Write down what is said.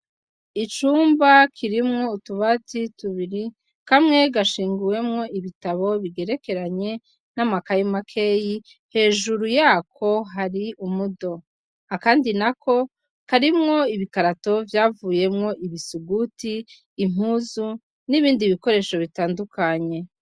Icumba kirimwo utubati tubiri kamwe gashinguwemwo ibitabo bigerekeranye n'amakaye makeyi ,hejuru yakwo hari umudo ,akandi nako karimwo ibikarato vyavuyemwo ibisuguti impuzu n'ibindi bikoresho bitandukanye.